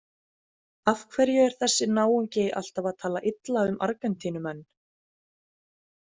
Af hverju er þessi náungi alltaf að tala illa um Argentínumenn?